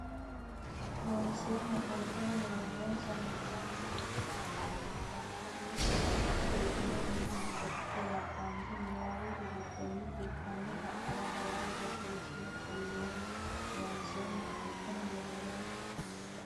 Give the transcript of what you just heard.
Loonseemmo Qolteno mereeronsa millissanni towatinsa kayinni Geedimonna Qorke nabbambe niwaawete giddonni fultino xa mora dawaro borreessine qolleemmo Loonseemmo Qolteno mereeronsa.